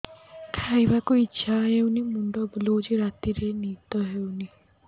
ଖାଇବାକୁ ଇଛା ହଉନି ମୁଣ୍ଡ ବୁଲୁଚି ରାତିରେ ନିଦ ହଉନି